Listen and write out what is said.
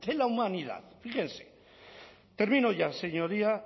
la humanidad fíjense termino ya señoría